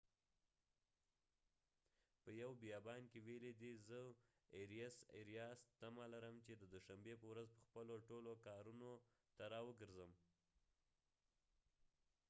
اریاس arias په یو بیان کې ويلی دي : زه تمه لرم چې ددوشنبی په ورځ په خپلو ټولو کارونو ته را وګرځم